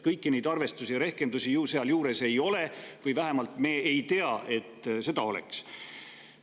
Kõiki neid arvestusi, rehkendusi sealjuures ei ole või vähemalt me ei tea, et need olemas on.